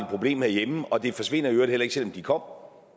problem herhjemme og det forsvinder i øvrigt heller ikke selv om de kom